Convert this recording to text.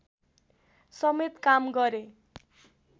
समेत काम गरे